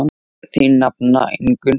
Þín nafna Ingunn.